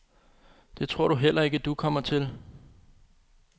Det tror du heller ikke, du kommer til?